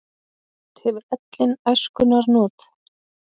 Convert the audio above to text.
Oft hefur ellin æskunnar not.